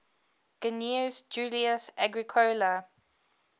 gnaeus julius agricola